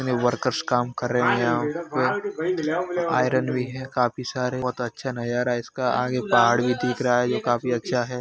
Workers काम कर रहे हैं यहां पे आयरन भी है काफी सारे बोहोत अच्छा नजारा है इसका आगे पहाड़ भी दिख रहा है। जो काफी अच्छा --